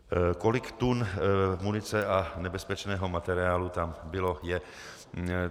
Kolik tun munice a nebezpečného materiálu tam bylo, je?